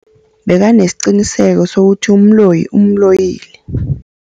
Bekanesiqiniseko sokuthi umloyi umloyile.